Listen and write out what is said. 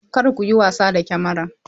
Kar ku yi wasa da Kamara!